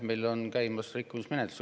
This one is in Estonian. Meil on käimas rikkumismenetlus.